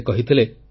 ସେ କହିଥିଲେ